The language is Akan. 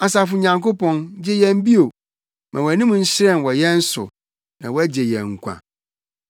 Asafo Nyankopɔn, gye yɛn bio; ma wʼanim nhyerɛn wɔ yɛn so, na wɔagye yɛn nkwa.